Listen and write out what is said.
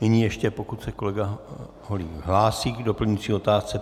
Nyní ještě pokud se kolega Holík hlásí k doplňující otázce.